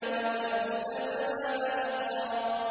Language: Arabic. وَثَمُودَ فَمَا أَبْقَىٰ